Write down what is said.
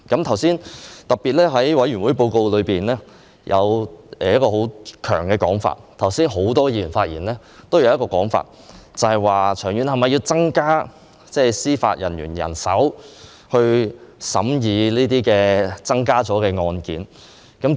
在委員會報告中，特別提到一個問題，而很多議員剛才發言時也有提及，就是長遠是否要增加司法人員人手來審議這些增加了的案件？